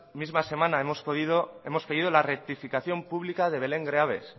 misma semana hemos pedido la rectificación pública de belén greaves